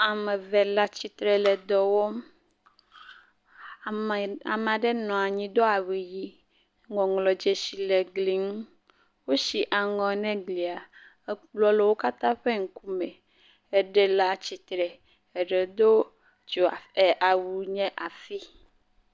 Ame eve le atsitre le dɔwɔm, ameaɖe nɔ anyi do awu ɣi, ŋɔŋlɔ dzesi le gli ŋu, wò si aŋɔ ne glia, ekplɔ le wò katã ƒe ŋkume, eɖe le atsitre, eɖe do awu nye afi.